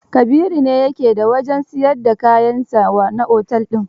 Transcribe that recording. Kabiru ne ya ke da wajen siyar da kayan sa wa na otel din.